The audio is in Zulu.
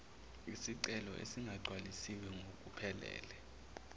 izicelo ezingagcwalisiwe ngokuphelele